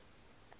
ungumntfwana